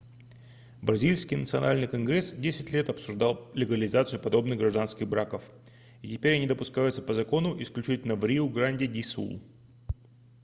бразильский национальный конгресс десять лет обсуждал легализацию подобных гражданских браков и теперь они допускаются по закону исключительно в риу-гранди-ду-сул